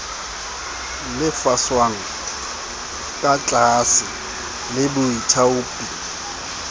lefshwang ka tlaase le baithaopi